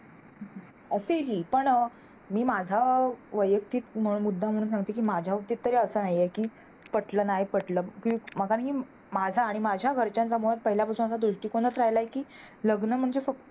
असेलही पण मी माझा वैयक्तिक मुद्दा म्हणून म्हणते कि माझ्या बाबतीत तरी असं नाही हे कि पटलं नाय पटलं कि माझा आणि माझ्या घरच्याचा पहिला पासून दृष्टीकोन राहिलाय कि लग्न म्हणजे फक्त